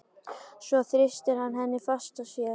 Svo þrýstir hann henni fast að sér.